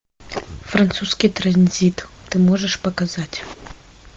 французский транзит ты можешь показать